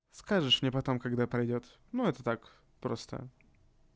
скажешь мне потом когда пройдёт ну это так просто